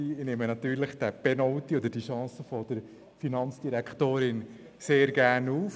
Ich nehme natürlich die Stichworte Penalty und Chance der Finanzdirektorin sehr gerne auf.